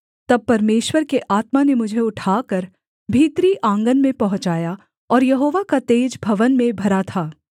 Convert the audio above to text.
तब परमेश्वर के आत्मा ने मुझे उठाकर भीतरी आँगन में पहुँचाया और यहोवा का तेज भवन में भरा था